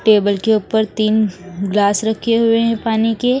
Table के ऊपर तीन ग्लास रखे हुए हैं पानी के।